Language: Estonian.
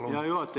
Hea juhataja!